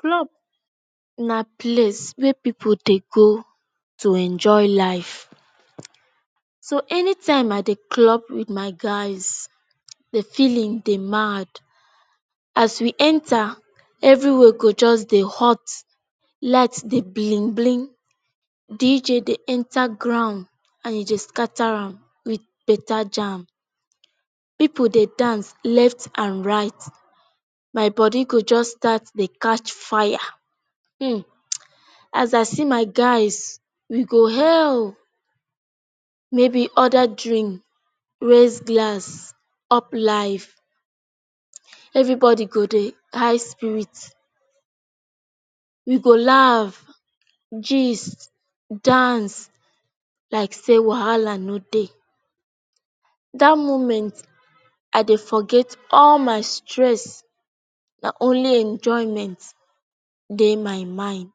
Club na place wey pipu dey go to enjoy life. So anytime I dey club with my guys the feeling dey mad. As we enter, everywhere go just dey hot. Light dey blink blink. DJ dey enter ground and e dey scatter am with beta jam. Pipu dey dance left and right. My body go just start to dey catch fire. Um! As I see my guys, we go hail. Maybe order drink, raise glass. Up life. Everybody go dey high spirit. We go laugh, gist, dance like say wahala no dey. Dat moment, I dey forget all my stress — only enjoyment dey my mind.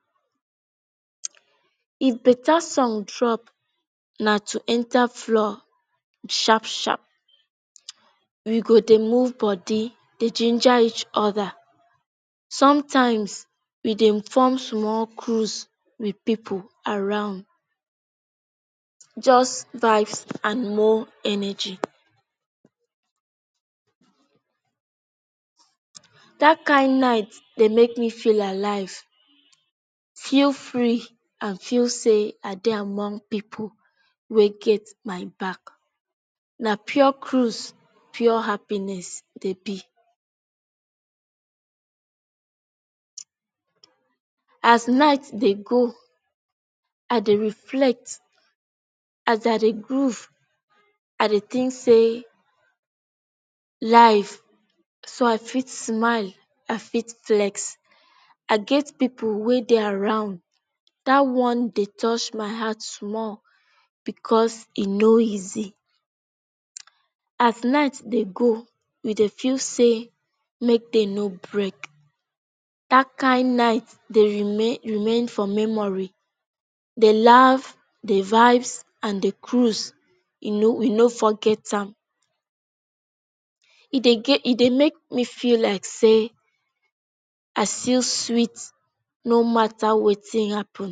If beta song drop, na to enter fall sharp sharp. We go dey move body, dey ginger each other. Sometimes, we dey form small cruise with pipu around. Just vibes and more energy. Dat kin night dey make me feel alive. Feel free and feel say I dey among pipu wey get my back. Na pure cruise, pure happiness e dey be. As night dey go, I dey reflect. As I dey groove, I dey think say life — so I fit smile, I fit flex. I get pipu wey dey around, dat one dey touch my heart small because e no easy. As night dey go, we dey feel say make day no break. Dat kin night dey remain for memory. The laughs. The vibes and the cruise. We no forget am. E dey make me feel like say, I still sweet no matter wetin happen.